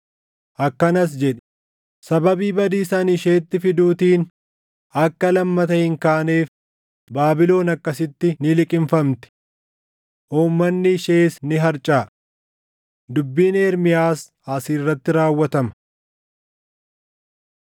Akkanas jedhi; ‘Sababii badiisa ani isheetti fiduutiin akka lammata hin kaaneef Baabilon akkasitti ni liqimfamti. Uummanni ishees ni harcaʼa.’ ” Dubbiin Ermiyaas as irratti raawwatama.